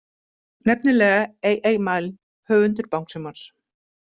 Nefnilega A.A. Milne, höfundur Bangsímons.